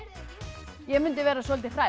ég mundi vera soldið hrædd